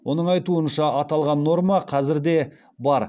оның айтуынша аталған норма қазір де бар